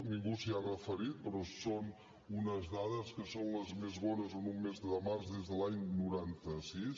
ningú s’hi ha referit però són unes dades que són les més bones en un mes de març des de l’any noranta sis